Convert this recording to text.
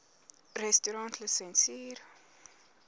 restaurantlisensier